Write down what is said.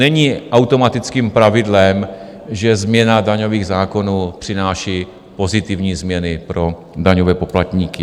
Není automatickým pravidlem, že změna daňových zákonů přináší pozitivní změny pro daňové poplatníky.